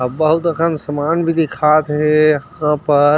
अब बहुत सामान भी दिखात हे